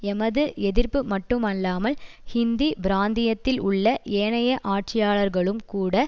எமது எதிர்ப்பு மட்டுமல்லாமல் இந்திப் பிராந்தியத்தில் உள்ள ஏனைய ஆட்சியாளர்களும் கூட